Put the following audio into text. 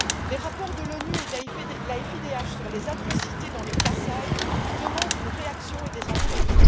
les rapports de l'ONU et de la FIDH sur les atrocités dans le Kasaï exigent une réaction et des enquêtes.